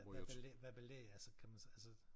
Hvad belæg hvad belæg altså kan man så altså